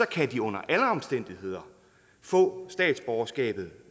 kan de under alle omstændigheder få statsborgerskabet